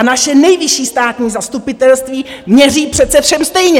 A naše Nejvyšší státní zastupitelství měří přece všem stejně!